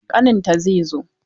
Ƙaninta zai zo.